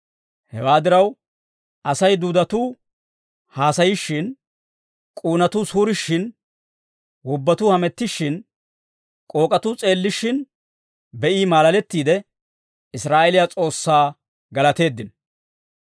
Hewaa diraw, Asay duudatuu haasayishshin, k'uunatuu suurishshin wobbatuu hamettishshin, k'ook'atuu s'eellishshin be'i maalalettiide, Israa'eeliyaa S'oossaa galateeddino.